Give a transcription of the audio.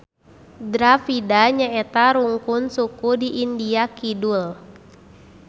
Dravida nyaeta rungkun suku di India Kidul.